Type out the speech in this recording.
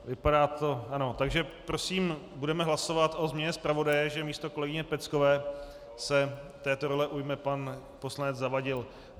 Takže prosím, budeme hlasovat o změně zpravodaje, že místo kolegyně Peckové se této role ujme pan poslanec Zavadil.